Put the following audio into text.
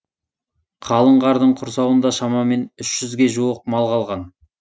қалың қардың құрсауында шамамен үш жүзге жуық мал қалған